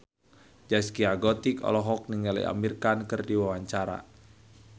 Zaskia Gotik olohok ningali Amir Khan keur diwawancara